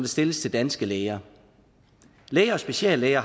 stilles til danske læger læger og speciallæger